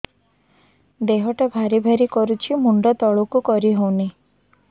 ଦେହଟା ଭାରି ଭାରି କରୁଛି ମୁଣ୍ଡ ତଳକୁ କରି ହେଉନି